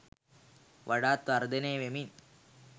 වඩාත් වර්ධනය වෙමින්